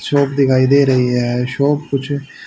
shop दिखाई दे रही है शॉप कुछ--